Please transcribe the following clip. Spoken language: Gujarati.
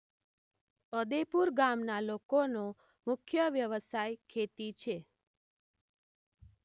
અદેપુર ગામના લોકોનો મુખ્ય વ્યવસાય ખેતી છે.